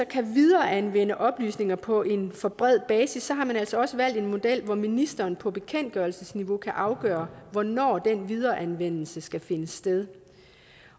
kan videreanvende oplysninger på en for bred basis har man altså også valgt en model hvor ministeren på bekendtgørelsesniveau kan afgøre hvornår den videreanvendelse skal finde sted